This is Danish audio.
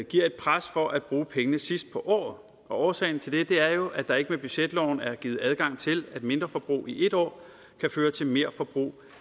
giver et pres for at bruge pengene sidst på året årsagen til det er jo at der ikke med budgetloven er givet adgang til at mindreforbrug i et år kan føre til merforbrug